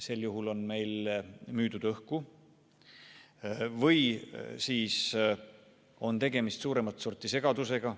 Sel juhul on meile müüdud õhku või siis on tegemist suuremat sorti segadusega.